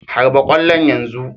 Harba ƙwallon yanzu!"